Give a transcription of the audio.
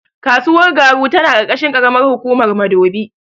Kasuwar Garu tana ƙarƙashin ƙaramar hukumar Madobi.